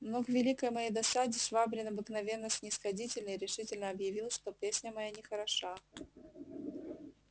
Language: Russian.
но к великой моей досаде швабрин обыкновенно снисходительный решительно объявил что песня моя нехороша